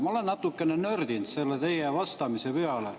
Ma olen natukene nördinud selle teie vastamise peale.